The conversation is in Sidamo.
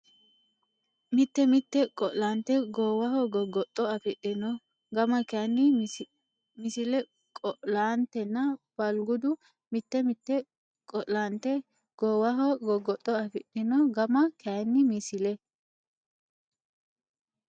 Mite mite qo laante goowaho goggoxxo afidhino gama kayinni Misile Qo laantenna Balgudu Mite mite qo laante goowaho goggoxxo afidhino gama kayinni Misile.